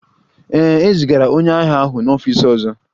Ee, e zigara onye agha ahụ n'ọfịs ọzọ